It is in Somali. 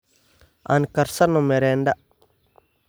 Aan karsano merenda.